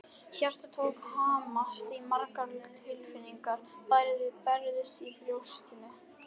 Hjartað tók að hamast og margar tilfinningar bærðust í brjóstinu.